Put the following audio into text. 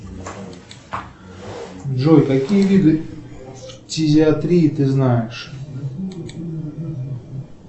джой какие виды фтизиатрии ты знаешь